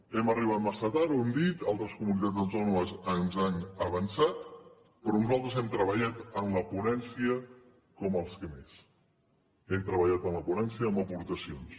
hem arribat massa tard ho hem dit altres comunitats autònomes ens han avançat però nosaltres hem treballat en la ponència com els qui més hem treballat a la ponència amb aportacions